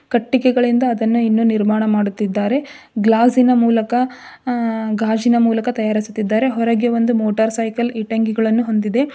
ಕಟ್ಟಿಗೆಗಳಿಂದ ಇನ್ನು ಅದನ್ನು ನಿರ್ಮಾಣ ಮಾಡುತ್ತಿದ್ದಾರೆ ಗ್ಲಾಸ್ಸಿನ ಮೂಲಕ ಆ ಗಾಜಿನ ಮೂಲಕ ತಯಾರಿಸುತ್ತಿದ್ದಾರೆ ಹೊರಗೆ ಒಂದು ಮೋಟರ್ ಸೈಕಲ್ ಇಟ್ಟಂಗಿಗಳನ್ನು ಹೊಂದಿದೆ.